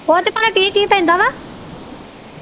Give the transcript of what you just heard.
ਉਹਦੇ ਚ ਪਲਾਂ ਕੀ ਕੀ ਪੈਂਦਾ ਵਾ?